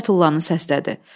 Tez Fətullanı səslədi.